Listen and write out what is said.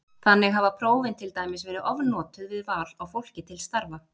Þannig hafa prófin til dæmis verið ofnotuð við val á fólki til starfa.